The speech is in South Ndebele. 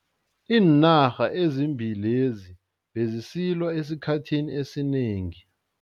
Iinarha ezimbili lezi bezisilwa esikhathini esinengi.